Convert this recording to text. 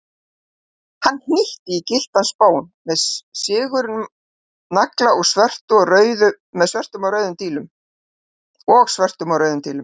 Hann hnýtti á gylltan spón með sigurnagla og svörtum og rauðum dílum.